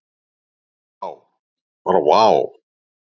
Vá, bara vá.